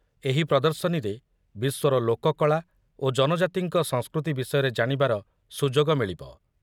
ଏହି ପ୍ରଦର୍ଶନୀରେ ବିଶ୍ୱର ଲୋକକଳା ଓ ଜନଜାତିଙ୍କ ସଂସ୍କୃତି ବିଷୟରେ ଜାଣିବାର ସୁଯୋଗ ମିଳିବ ।